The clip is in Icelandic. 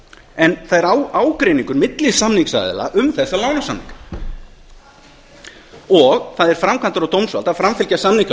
en það er ágreiningur milli samningsaðila um þessa lánasamninga og það er framkvæmda og dómsvalds að framfylgja samningalögum